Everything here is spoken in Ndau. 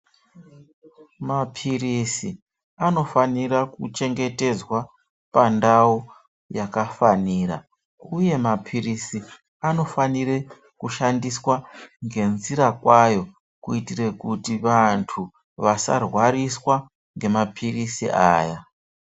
Mapiritsi anofanire kuchengetedzwa pandau yakafanira, uye mapiritsi anofanire kushandiswa ngenzira kwayo kuitire kuti vantu asarwariswe ngemapiritsi aya.